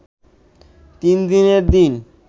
তিনদিনের দিন